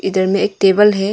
इधर में एक टेबल है।